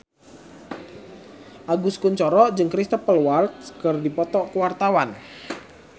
Agus Kuncoro jeung Cristhoper Waltz keur dipoto ku wartawan